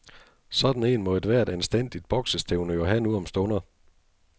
Sådan en må ethvert anstændigt boksestævne jo have nu om stunder.